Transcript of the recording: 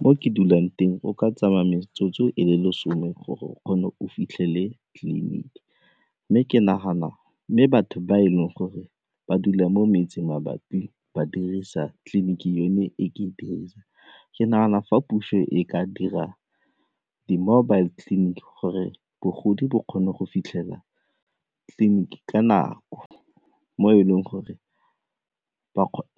Mo ke dulang teng o ka tsamaya metsotso e le le some kgone o fitlhele tleliniki mme batho ba e leng gore ba dula mo metse mabapi ba dirisa tliliniki eno e ke dirisa, ke nagana fa puso e ka dira di-mobile clinic gore bogodi bo kgone go fitlhela tleliniki ka nako mo e leng gore